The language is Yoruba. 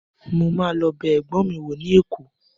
Mo ma lọ bẹ ẹgbọn mi wo ni Èkó.